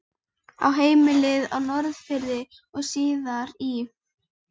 Á heimilið á Norðfirði og síðar í